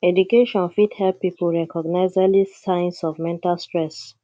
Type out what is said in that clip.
education fit help pipo recognize early signs of mental stress